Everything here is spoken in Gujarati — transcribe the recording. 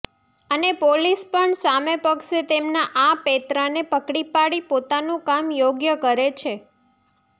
અને પોલીસ પણ સામે પક્ષે તેમના આ પેંતરાને પકડી પાડી પોતાનું કામ યોગ્ય કરે છે